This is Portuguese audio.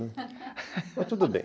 Mas tudo bem.